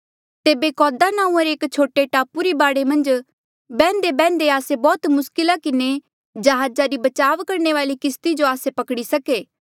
तेबे कौदा नांऊँआं रे एक छोटे टापू री बाढे मन्झ बैह्न्देबैह्न्दे आस्से बौह्त मुस्किला किन्हें जहाजा री बचाव करणे वाली किस्ती जो आस्से पकड़ी सके